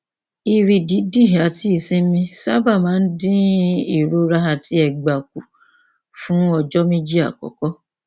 ìrì dídì àti ìsinmi sábà máa ń dín ìrora àti ẹgbà kù fún ọjọ méjì àkọkọ